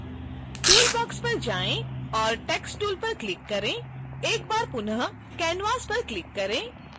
toolbox पर जाएँ और text tool पर क्लिक करें एक बार पुनः canvas पर क्लिक करें